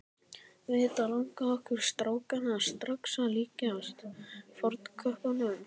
Auðvitað langaði okkur strákana strax að líkjast fornköppunum.